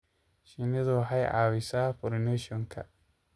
Shinnidu waxay caawisaa pollination-ka.